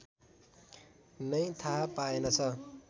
नै थाहा पाएनछ